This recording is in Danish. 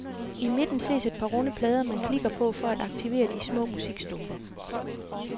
I midten ses et par runde plader man klikker på for at aktivere de små musikstumper.